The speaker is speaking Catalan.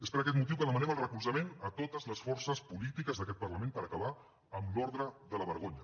és per aquest motiu que demanem el recolzament a totes les forces polítiques d’aquest parlament per acabar amb l’ordre de la vergonya